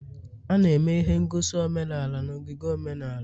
A na-eme ihe ngosi omenala na ogige omenala